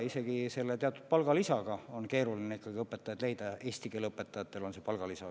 Isegi selle teatud palgalisaga on keeruline õpetajaid leida, eesti keele õpetajatel on seal vist palgalisa.